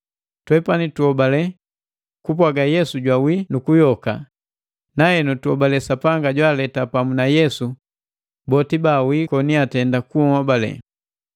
Twepani tuhobale kupwaga Yesu jwawii nu kuyoka, nahenu tuhobale Sapanga jwaaleta pamu na Yesu boti baawii koni atenda kunhobale.